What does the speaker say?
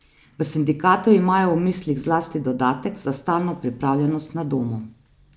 V sindikatu imajo v mislih zlasti dodatek za stalno pripravljenost na domu.